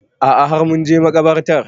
A'a har mun je makabartar